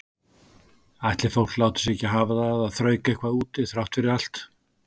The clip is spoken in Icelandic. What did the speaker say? Ætli fólk láti sig ekki hafa það að þrauka eitthvað úti þrátt fyrir allt.